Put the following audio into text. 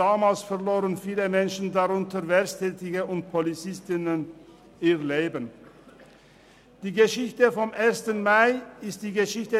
Damals verloren viele Menschen, darunter Erwerbstätige und Polizistinnen und Polizisten, ihre Leben.